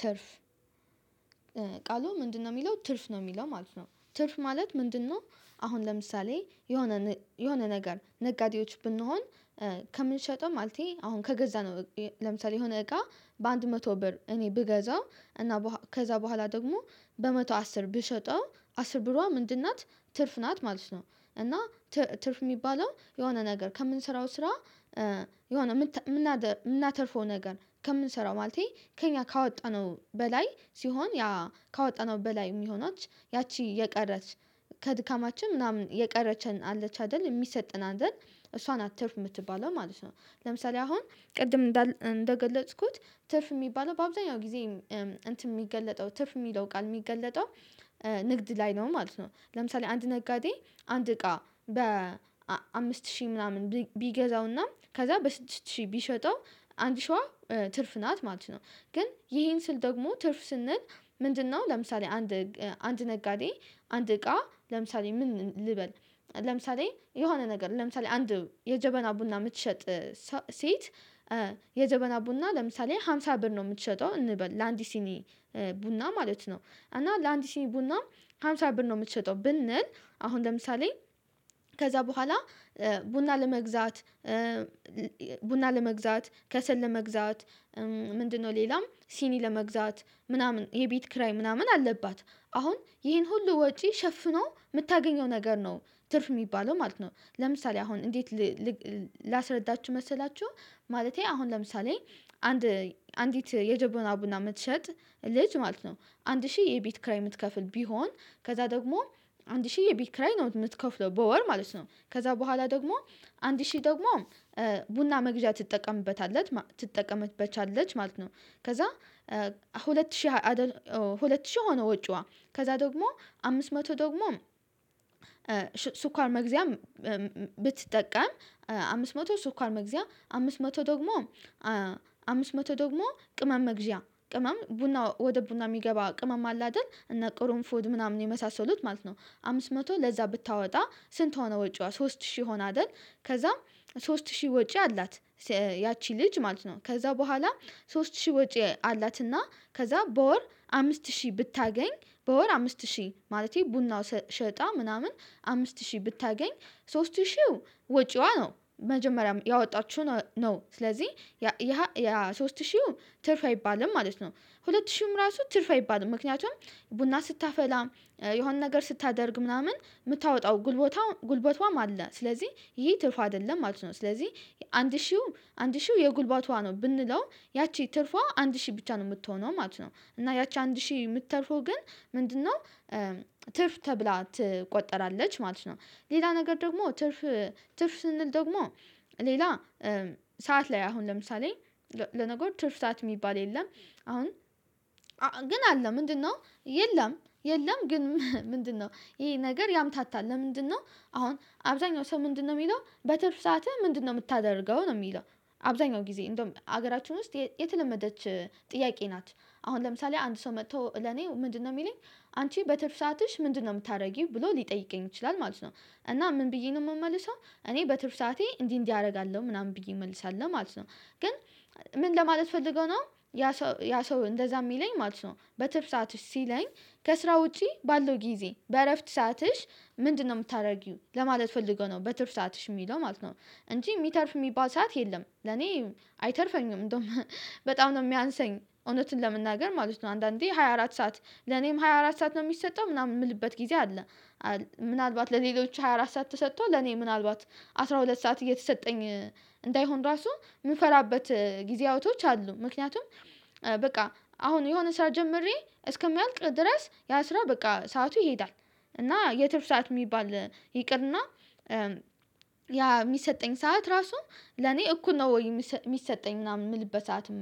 ትርፍ ቃሉ ምንድነው የሚለው ትርፍ ነው የሚለው ማለት ነው ትርፍ ማለት ምንድነው? አሁን ለምሳሌ የሆነ የሆነ ነገር ነጋዴዎች ብንሆን ከምንሸጠው ማለቴ አሁን ከገዛ ነው። ለምሳሌ የሆነ እቃ በአንድ መቶ ብር እኔ ብገዛው እና ከዛ በኋላ ደግሞ በመቶ አስር ብሸጠው አስር ብሯ ምንድን ናት ትርፍ ናት ማለት ነው። እና ትርፍ የሚባለው የሆነ ነገር ከምንሰራው ስራ። የሆነ የምናተርፈው ነገር ከምንሰራው ማለቴ ከእኛ ካወጣነው በላይ ሲሆን ያ ካወጣነው በላይ የሚሆናችሁ ያቺ የቀረች ከድካማችን ምናምን የቀረችን አለች አይደል የሚሰጥን አይደል እሷን ትርፍ የምትባለው ማለት ነው። ለምሳሌ አሁን ቅድም እንደገለጽኩት ትርፍ የሚባለው በአብዛኛው ጊዜ እንትን የሚገለጠው ትርፍ የሚለው ቃል የሚገለጠው ንግድ ላይ ነው ማለት ነው። ለምሳሌ አንድ ነጋዴ አንድ እቃ በ አምስት ሺህ ምናምን ቢገዛውና ከዛ በስድስት ሺህ ቢሸጠው አንድ ሺዋ ትርፍ ናት ማለት ነው። ግን ይሄን ስል ደግሞ ትርፍ ስንል ምንድነው? ለምሳሌ አንድ አንድ ነጋዴ አንድ እቃ ለምሳሌ ምን ልበል ለምሳሌ የሆነ ነገር ለምሳሌ አንድ የጀበና ቡና የምትሸጥ ሴት የዘበና ቡና ለምሳሌ ሃምሳ ብር ነው የምትሸጠው እንበል ለአንዲት ሲኒ ቡና ማለት ነው። እና ለአንዲ ሲኒ ቡናም ሃምሳ ብር ነው የምትሸጠው ብንል አሁን ለምሳሌ ከዛ በኋላ ቡና ለመግዛት ቡና ለመግዛት ከሰል ለመግዛት ምንድነው ሌላም ሲኒ ለመግዛት ምናምን የቤት ክራይ ምናምን አለባት አሁን ይሄን ሁሉ ወጪ ሸፍኖ የምታገኘው ነገር ነው ትርፍ የሚባለው ማለት ነው። ለምሳሌ አሁን እንዴት? ላስረዳችሁ መሰላችሁ ማለቴ አሁን ለምሳሌ አንድ አንዲት የጀበና ቡና የምትሸጥ ልጅ ማለት ነው አንድ ሺህ የቤት ክራይ የምትከፍል ቢሆን ከዛ ደግሞ አንድ ሺህ የቤት ክራይ ነው የምትከፍለው በወር ማለት ነው። ከዛ በኋላ ደግሞ አንድ ሺህ ደግሞ ቡና መግዣ ትጠቀምበታለች ትጠቀምበታለች ማለት ነው። ከዛ ሁለት ሺህ ሁለት ሺህ ሆኖ ወጪዋ ከዛ ደግሞ አምስት መቶ ደግሞ ስኳር መግዚያም ብትጠቀም አምስት መቶ ሱካር መግዚያ አምስት መቶ ደግሞ አምስት መቶ ደግሞ ቅመም እግዚአብሔር ቅመም ቡና ወደ ቡና የሚገባ ቅመም አለ አይደል እና ቅርን ፉድ ምናምን የመሳሰሉት ማለት ነው አምስት መቶ ለዛ ብታወጣ ስንት ሆነ ወጪዋ ሶስት ሺህ ሆና አይደል። ከዛም ሶስት ሺህ ወጪ አላት ያቺ ልጅ ማለት ነው። ከዛ በኋላ ሶስት ሺህ ወጪ አላትና ከዛ በወር አምስት ሺህ ብታገኝ በወር አምስት ሺህ ማለቴ ቡናው ሸጣ ምናምን አምስት ሺህ ብታገኝ ሶስት ሺህ ወጪዋ ነው መጀመሪያ ያወጣችሁ ነው ስለዚህ ያ ያ ሶስት ሺህው ትርፍ አይባልም ማለት ነው። ሁለት ሺህም ራሱ ትርፍ አይባልም። ምክንያቱም ቡና ስታፈላ የሆነ ነገር ስታደርግ ምናምን የምታወጣው ጉልበቷ ጉልበቷም አለ ስለዚህ ይሄ ትርፍ አይደለም ማለት ነው። ስለዚህ አንድ ሺህ አንድ ሺህ የጉልባቷ ነው ብንለው ያቺ ትርፏ አንድ ሺህ ብቻ ነው የምትሆነው ማለት ነው። እና ያቺ አንድ ሺህ የምትተርፎ ግን ምንድነው? ትርፍ ተብላ ትቆጠራለች ማለት ነው። ሌላ ነገር ደግሞ ትርፍ ትርፍ ስንል ደግሞ ሌላ ሰዓት ላይ አሁን ለምሳሌ ለነገር ትርፍታት የሚባል የለም። አሁን ግን አለ ምንድነው የለም የለም ግን ምንድነው? ይሄ ነገር ያምታታል ለምንድነው? አሁን አብዛኛው ሰው ምንድነው የሚለው በትርፍ ሰዓትህ ምንድነው የምታደርገው ነው የሚለው። አብዛኛው ጊዜ እንደውም ሀገራችን ውስጥ የተለመደች ጥያቄ ናት። አሁን ለምሳሌ አንድ ሰው መጥቶ ለኔ ምንድነው የሚለኝ አንቺ በትርፍ ሰአትሽ ምንድነው የምታደርጊው ብሎ ሊጠይቀኝ ይችላል ማለት ነው። እና ምን ብዬ ነው የምመልሰው እኔ በትርፍ ሰዓቴ እንዲህ እንዲህ አደርጋለሁ ምናምን ብዬ እመልሳለሁ ማለት ነው። ግን ምን ለማለት ፈልገው ነው ያ ሰው ያ ሰው እንደዛ የሚለኝ ማለት ነው። በትርፍ ሰዓትሽ ሲለኝ ከስራ ውጪ ባለው ጊዜ በእረፍት ሰአትሽ ምንድነው የምታደርጊው ለማለት ፈልገው ነው በትርፍ ሰዓትሽ የሚለው ማለት ነው። እንጂ የሚተርፍ የሚባል ሰዓት የለም ለኔ አይተርፈኝም እንደውም በጣም ነው የሚያንሰኝ እውነትን ለመናገር ማለት ነው። አንዳንዴ ሃያ አራት ሰዓት ለኔም ሃያ አራት ሰዓት ነው የሚሰጠው ምናምን የምልበት ጊዜ አለ። ምናልባት ለሌሎች ሃያ አራት ሰዓት ተሰጥቶ ለኔ ምናልባት አስራ ሁለት ሰዓት እየተሰጠኝ እንዳይሆን ራሱ ምን ጊዜ አውቶች አሉ ምክንያቱም በቃ አሁን የሆነ ስራ ጀምሬ እስከሚያልቅ ድረስ ያ ስራ በቃ ሰዓቱ ይሄዳል። እና የትርፍ ሰዓት የሚባል ይቅርና ያ የሚሰጠኝ ሰዓት ራሱ ለኔ እኩል ነው ወይ የሚሰጠኝ ምናምን የምልበት ሰዓትም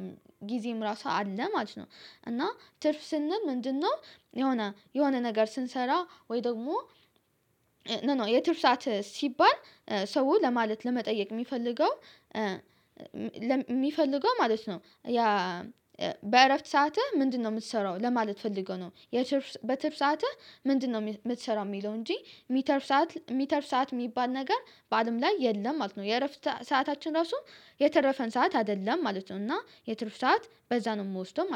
ጊዜም ራሷ አለ ማለት ነው። እና ትርፍ ስንል ምንድነው? የሆነ የሆነ ነገር ስንሰራ ወይ ደግሞ ኖኖ የትርፍ ሰዓት ሲባል ሰው ለማለት ለመጠየቅ የሚፈልገው የሚፈልገው ማለት ነው። ያ በእረፍት ሰአትህ ምንድነው የምትሰራው ለማለት ፈልገው ነው። የትርፍ ሰዓትህ ምንድነው? የምትሰራው የሚለው እንጂ የሚተርፍ ሰዓት የሚተርፍ ሰዓት የሚባል ነገር በአለም ላይ የለም ማለት ነው። የእረፍት ሰዓታችን ራሱ የተረፈን ሰዓት አይደለም ማለት ነው። እና የትርፍ ሰዓት በዛ ነው የምወስደው